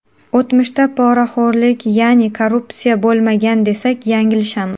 O‘tmishda poraxo‘rlik, ya’ni korrupsiya bo‘lmagan desak, yanglishamiz.